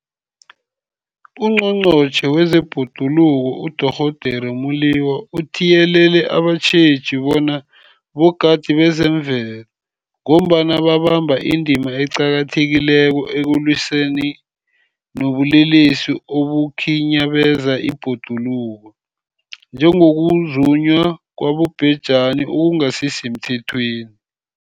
UNgqongqotjhe wezeBhoduluko uDorh Edna Molewa uthiyelele abatjheji bona bogadi bezemvelo, ngombana babamba indima eqakathekileko ekulwisaneni nobulelesi obukhinyabeza ibhoduluko, njengokuzunywa kwabobhejani okungasisemthethweni.